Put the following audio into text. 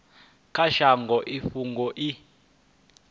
kha shango i fhungo i